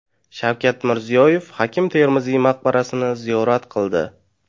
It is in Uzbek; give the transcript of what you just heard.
Shavkat Mirziyoyev Hakim Termiziy maqbarasini ziyorat qildi .